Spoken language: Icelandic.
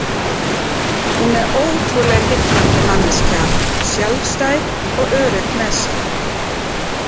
Hún er ótrúlega heillandi manneskja, sjálfstæð og örugg með sig.